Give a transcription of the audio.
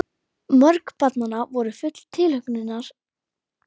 Mörg barnanna voru full tilhlökkunar að byrja í grunnskólanum.